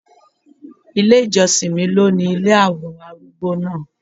Ilé ìjọsìn mi ló ni ilé àwọn arúgbó náà.